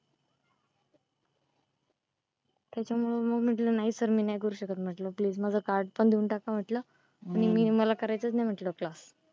त्याच्यामुळे मग मी म्हंटलं नाही सर मी करू शकत म्हंटलं माज card पण देऊन टाका म्हंटलं मला नाही करायचा class